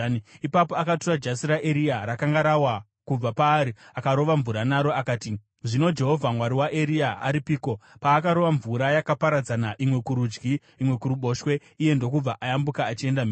Ipapo akatora jasi raEria rakanga rawa kubva paari akarova mvura naro akati, “Zvino Jehovha Mwari waEria aripiko?” Paakarova mvura, yakaparadzana, imwe kurudyi, imwe kuruboshwe, iye ndokubva ayambuka achienda mhiri.